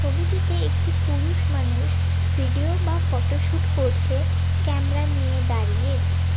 ছবিটিতে একটি পুরুষ মানুষ ভিডিও বা ফটোশুট করছে ক্যামরা নিয়ে দাঁড়িয়ে।